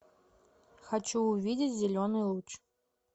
хочу увидеть зеленый луч